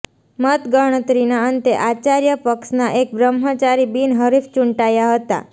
મતગણતરીના અંતે આચાર્ય પક્ષના એક બ્રહ્મચારી બિનહરીફ ચૂંટાયા હતા